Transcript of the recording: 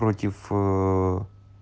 против ээ